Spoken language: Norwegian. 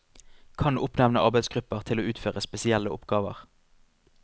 Kan oppnevne arbeidsgrupper til å utføre spesielle oppgaver.